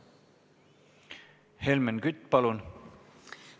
Helmen Kütt, palun!